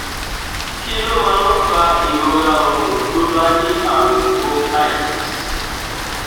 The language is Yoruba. kí ló máa ń fa ìrora ọrùn tó bá ní àrùn bronchitis